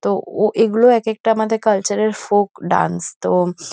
তো ও এগুলো একেকটা আমাদের কালচার এর ফোক ডান্স। তো --